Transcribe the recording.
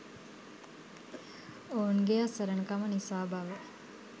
ඔවුන්ගේ අසරණකම නිසා බව